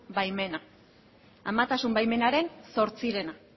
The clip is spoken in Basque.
baimena amatasun baimenaren zortzirena